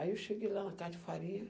Aí eu cheguei lá na casa de farinha.